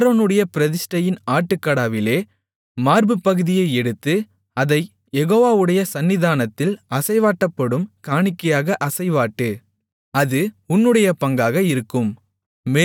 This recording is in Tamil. ஆரோனுடைய பிரதிஷ்டையின் ஆட்டுக்கடாவிலே மார்புப்பகுதியை எடுத்து அதைக் யெகோவாவுடைய சந்நிதானத்தில் அசைவாட்டப்படும் காணிக்கையாக அசைவாட்டு அது உன்னுடைய பங்காக இருக்கும்